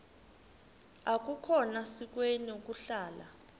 akukhona sikweni ukuhlala